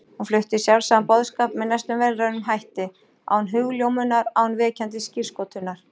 Hún flutti sjálfsagðan boðskap með næstum vélrænum hætti, án hugljómunar, án vekjandi skírskotunar.